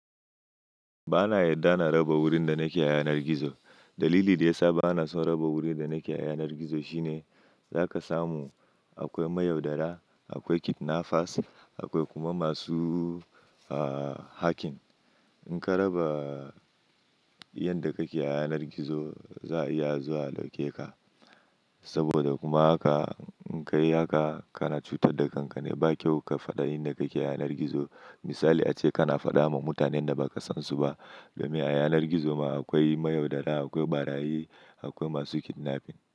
Ba na yarda na raba wurin da nake a yanar gizo. Dalili da ya sa ba na son raba wurin da nake a yanar gizo shi ne za ka samu akwai mayaudara, akwai kidnappers, akwai kuma masu, hacking. In ka raba yadda ka ke a yanar gizo, za a iya zuwa a dauke ka. Saboda kuma ka, in ka yi haka, kana cutar da kanka. Ba kyau ka faɗi inda ka ke a yanar gizo. Misali ace kana faɗa ma mutanen da baka san su ba. Domin a yanar gizo ma akwai mayaudara, akwai ɓarayi, akwai masu kidnapping.